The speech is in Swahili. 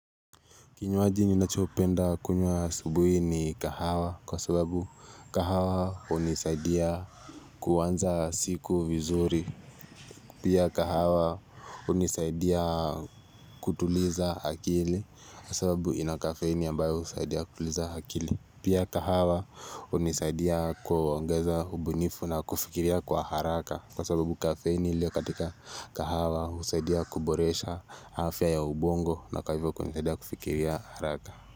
Kinywaji ni nachopenda kunywa asubuhi ni kahawa kwa sababu kahawa hunisaidia kuanza siku vizuri. Pia kahawa hunisaidia kutuliza hakili kasababu inakafeini ambayo usaidia kutuliza hakili. Pia kahawa unisaidia kuongeza ubunifu na kufikiria kwa haraka kwa sababu kafeini lio katika kahawa husaidia kuboresha hafya ya ubongo na hivoivyo kwenye teda kufikiri ya haraka.